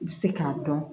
I bɛ se k'a dɔn